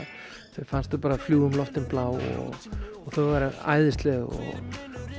þeim fannst þau bara fljúga um loftin blá og þau væru æðisleg